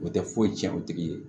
O tɛ foyi tiɲɛ o tigi ye